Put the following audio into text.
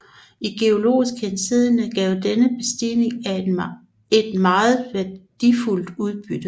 I geologisk henseende gav denne bestigning et meget værdifuldt udbytte